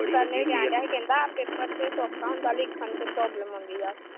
ਕਹਿੰਦਾ ਪੇਪਰ ਤੇ ਸੌਖਾ ਹੁੰਦਾ। ਲਿਖਣ ਚ ਪਰਾਬਲਮ ਆਉਂਦੀ ਆ।